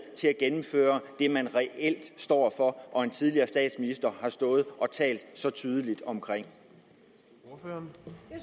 til at gennemføre det man reelt står for og som en tidligere statsminister har stået og talt så tydeligt for